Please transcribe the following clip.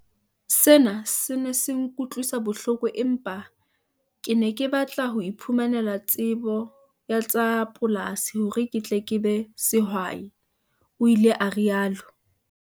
"Sena se ne se nkutlwisa bohloko empa ke ne ke batla ho iphumanela tsebo ya tsa polasi hore ke tle ke be sehwai," o ile a rialo.